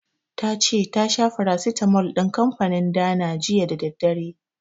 Ta ce ta sha farasitamol din kanfanin Dana jiya da daddare.